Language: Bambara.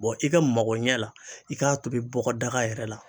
Bɔn i ka magoɲɛ la i k'a tobi bɔgɔdaga yɛrɛ la